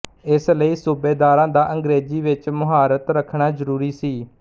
ਇਸ ਲਈ ਸੂਬੇਦਾਰਾਂ ਦਾ ਅੰਗਰੇਜ਼ੀ ਵਿੱਚ ਮੁਹਾਰਤ ਰੱਖਣਾ ਜ਼ਰੂਰੀ ਸੀ